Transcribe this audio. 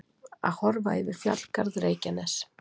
Að horfa yfir fjallgarð Reykjaness.